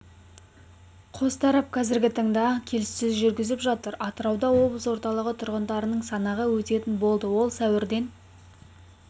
қос тарап қазіргі таңда келіссөздер жүргізіп жатыр атырауда облыс орталығы тұрғындарының санағы өтетін болды ол сәуірден